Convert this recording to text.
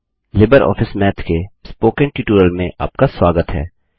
Libre office Math के spoken tutorial में आपका स्वागत है